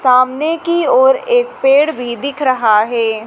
सामने की ओर एक पेड़ भी दिख रहा है।